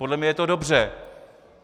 Podle mě je to dobře.